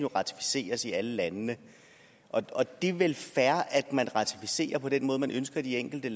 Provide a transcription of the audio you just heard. ratificeres i alle landene det er vel fair at man ratificerer på den måde man ønsker i de enkelte